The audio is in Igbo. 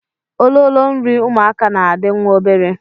Ololo nri ụmụaka na-adị nwa obere